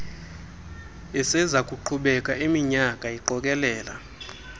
esezakuqhubeka iiminyaka iqokelela